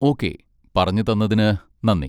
Okay, പറഞ്ഞുതന്നതിന് നന്ദി.